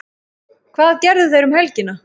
Hvað gerðu þeir um helgina?